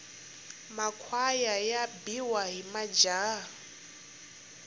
makhwaya ya biwa hi majaha